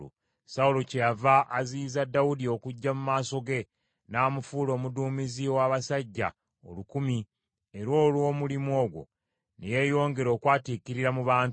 Sawulo kyeyava aziyiza Dawudi okujja mu maaso ge n’amufuula omuduumizi ow’abasajja olukumi, era olw’omulimu ogwo ne yeeyongera okwatiikirira mu bantu.